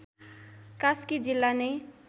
कास्की जिल्ला नै